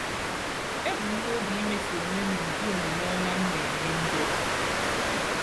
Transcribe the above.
Ebu m nobi imeso onwe m ụdị omume ọma m na-enye ndị ọzọ.